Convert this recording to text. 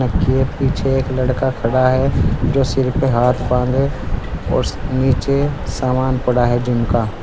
के पीछे एक लड़का खड़ा है जो सिर पे हाथ बाँधे और नीचे सामान पड़ा है जिम का।